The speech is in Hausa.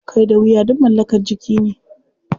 Kai da wuya duk mallakar jiki ne.